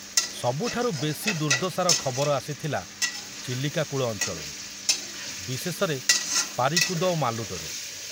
ସବୁଠାରୁ ବେଶି ଦୁର୍ଦ୍ଦଶାର ଖବର ଆସିଥିଲା ଚିଲିକା କୂଳ ଅଞ୍ଚଳରୁ, ବିଶେଷରେ ପାରିକୁଦ ଓ ମାଲୁଦରୁ।